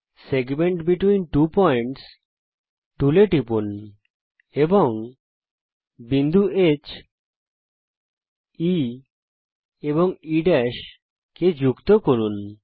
segment between two Points এ টিপুন বিন্দু heই কে যুক্ত করুন